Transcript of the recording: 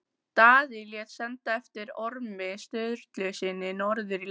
Daði lét senda eftir Ormi Sturlusyni norður í land.